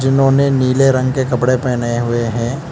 उन्होंने नीले रंग के कपड़े पहने हुए हैं।